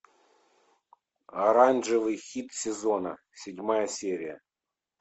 оранжевый хит сезона седьмая серия